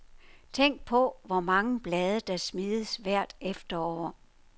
Tænk på, hvor mange blade der smides hvert efterår.